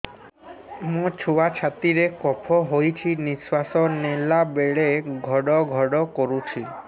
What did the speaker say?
ମୋ ଛୁଆ ଛାତି ରେ କଫ ହୋଇଛି ନିଶ୍ୱାସ ନେଲା ବେଳେ ଘଡ ଘଡ କରୁଛି